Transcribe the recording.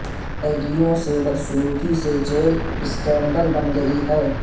قیدیوں سے بدسلوکی سے جیل سکینڈل بن گئی ہے